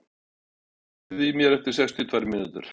Friðlaug, heyrðu í mér eftir sextíu og tvær mínútur.